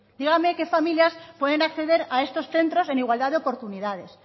dígame qué familias pueden acceder a estos centros en igualdad de oportunidades